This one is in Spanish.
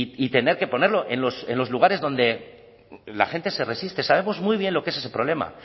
y tener que ponerlo en los lugares donde la gente se resiste sabemos muy bien lo que es ese problema